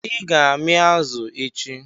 I ga-ami azụ echi?